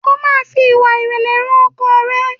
o ma fí ìwà irẹlẹ hàn ọkọ rẹ!